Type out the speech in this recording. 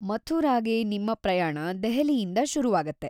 ಮಥುರಾಗೆ ನಿಮ್ಮ ಪ್ರಯಾಣ ದೆಹಲಿಯಿಂದ ಶುರುವಾಗತ್ತೆ.